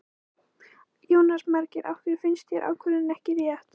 Jónas Margeir: Af hverju finnst þér ákvörðunin ekki rétt?